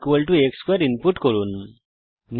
এবং পূর্বানুমান করুন এবং function f a x2 input করুন